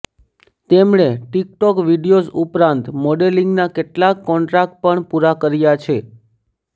તેમણે TikTok videos ઉપરાંત મોડેલીંગના કેટલાક કોન્ટ્રાક્ટ પણ પૂરા કર્યા છે